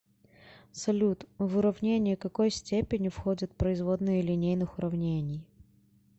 салют в уравнение какой степени входят производные линейных уравнений